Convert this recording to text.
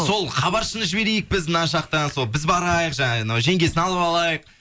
сол хабаршыны жіберейік біз мына жақтан сол біз барайық жаңағы жеңгесін алып алайық